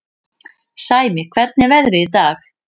Sæmi, hvernig er veðrið í dag?